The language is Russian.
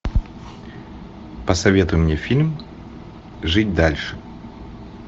посоветуй мне фильм жить дальше